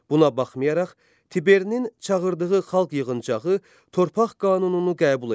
Buna baxmayaraq, Tiberinin çağırdığı xalq yığıncağı torpaq qanununu qəbul etdi.